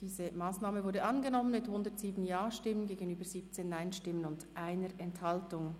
Diese Massnahme ist angenommen worden mit 107 Ja- gegenüber 17 Nein-Stimmen und 1 Enthaltung.